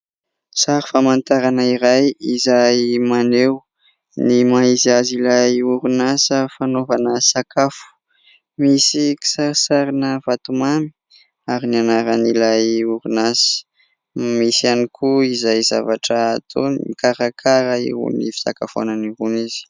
Sary famantarana iray izay maneho ny maha izy azy ilay orinasa fanaovana sakafo, misy kisarisarina vatomamy ary ny anaran'ilay orinasa, misy ihany koa izay zavatra ataony mikarakara irony fisakafoanana irony izy.